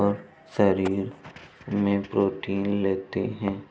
और शरीर में प्रोटीन लेतें हैं।